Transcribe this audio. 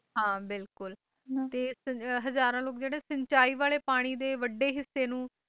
ਹਾਂ ਬਿਲਕੁਲ ਹੈ ਨਾ ਹਜ਼ਾਰਾਂ ਲੋਕ ਜਿਹੜੇ ਸਿੰਚਾਈ ਵਾਲੇ ਪਾਣੀ ਦੇ ਵੱਢੇ ਹਿੱਸੇ ਨੂੰ